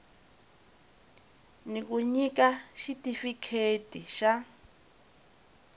ni ku nyika xitifikheti xa